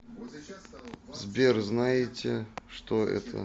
сбер знаете что это